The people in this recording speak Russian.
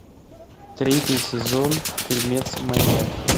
третий сезон фильмец маньяк